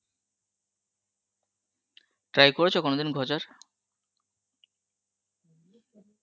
try করেছো কোনদিন খোঁজার?